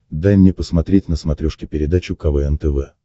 дай мне посмотреть на смотрешке передачу квн тв